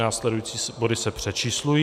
Následující body se přečíslují.